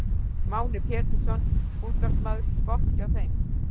Máni Pétursson, útvarpsmaður: Gott hjá þeim.